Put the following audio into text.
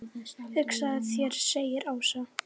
Hugsaðu þér segir Ása.